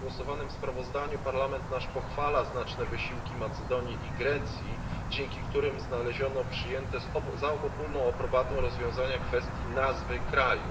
W przegłosowanym sprawozdaniu Parlament pochwala znaczne wysiłki Macedonii i Grecji, dzięki którym znaleziono przyjęte za obopólną aprobatą rozwiązanie kwestii nazwy kraju.